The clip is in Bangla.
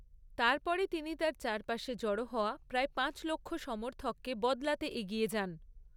তারপরে তিনি তার চারপাশে জড়ো হওয়া প্রায় পাঁচ লক্ষ সমর্থককে বদলাতে এগিয়ে যান।